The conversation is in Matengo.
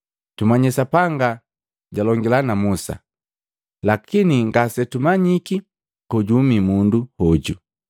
Tumanyii Sapanga jalongila na Musa, lakini ngasetumanyiki kojuhumi mundu hoju!”